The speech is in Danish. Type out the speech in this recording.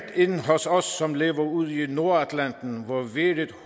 ind hos os som lever livet ude i nordatlanten hvor vejret